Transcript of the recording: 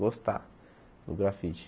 Gostar do grafite.